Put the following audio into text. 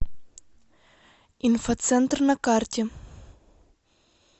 инфоцентр на карте